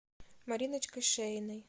мариночкой шеиной